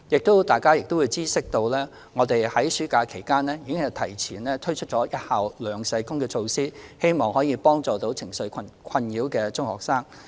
相信大家也知悉，我們已在暑假期間提前推行一校兩社工措施，希望能協助情緒受困擾的中學生。